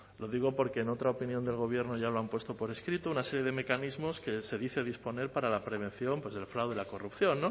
lo digo porque en otra opinión del gobierno ya lo han puesto por escrito una serie de mecanismos que se dice disponer para la prevención pues del fraude la corrupción